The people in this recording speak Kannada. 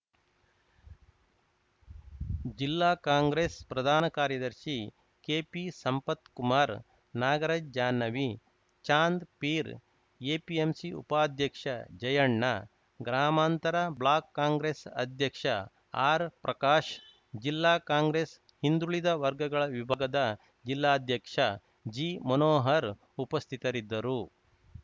ಜಿಲ್ಲಾ ಕಾಂಗ್ರೆಸ್‌ ಪ್ರಧಾನ ಕಾರ್ಯದರ್ಶಿ ಕೆಪಿ ಸಂಪತ್‌ಕುಮಾರ್‌ ನಾಗರಾಜ್‌ ಜಾನ್ಹವಿ ಚಾಂದ್‌ಪೀರ್‌ ಎಪಿಎಂಸಿ ಉಪಾಧ್ಯಕ್ಷ ಜಯಣ್ಣ ಗ್ರಾಮಾಂತರ ಬ್ಲಾಕ್‌ ಕಾಂಗ್ರೆಸ್‌ ಅಧ್ಯಕ್ಷ ಆರ್‌ ಪ್ರಕಾಶ್‌ ಜಿಲ್ಲಾ ಕಾಂಗ್ರೆಸ್‌ ಹಿಂದುಳಿದ ವರ್ಗಗಳ ವಿಭಾಗದ ಜಿಲ್ಲಾಧ್ಯಕ್ಷ ಜಿ ಮನೋಹರ್‌ ಉಪಸ್ಥಿತರಿದ್ದರು